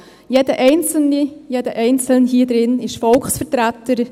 Jeder einzelne, jede einzelne hier drin ist Volksvertreter.